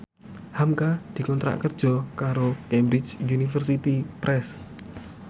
hamka dikontrak kerja karo Cambridge Universiy Press